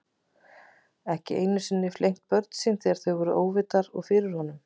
Ekki einu sinni flengt börnin sín þegar þau voru óvitar og fyrir honum.